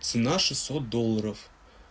цена шестьсот долларов